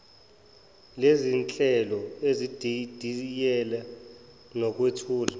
lezinhlelo ezididiyele nokwethula